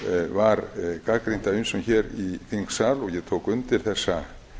var gagnrýnt af ýmsum í þingsal og ég tók undir þessa